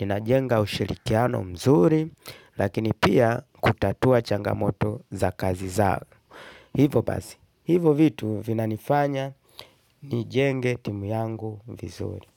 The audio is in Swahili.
ninajenga ushirikiano mzuri, lakini pia kutatua changamoto za kazi zao. Hivo basi, hivo vitu vinanifanya, nijenge timu yangu vizuri.